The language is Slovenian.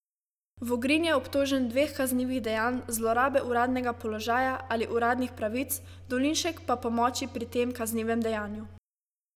Vogrin je obtožen dveh kaznivih dejanj zlorabe uradnega položaja ali uradnih pravic, Dolinšek pa pomoči pri tem kaznivem dejanju.